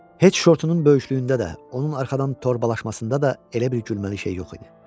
Heç şortunun böyüklüyündə də, onun arxadan torbalaşmasında da elə bir gülməli şey yox idi.